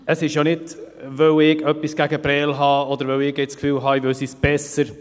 Es ist ja nicht, weil ich etwas gegen Prêles habe, oder weil ich jetzt das Gefühl habe, ich wisse es besser.